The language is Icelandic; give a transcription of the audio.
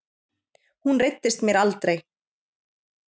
Hún reiddist mér aldrei.